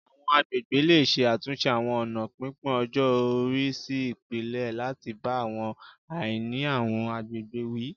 Àwọn agbègbè lè ṣe àtúnṣe àwọn ọ̀nà pínpín-ọjọ-ori sí ipele, láti bá àwọn àìní àwọn àgbègbè wí